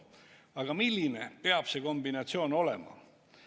Aga milline peab see kombinatsioon olema?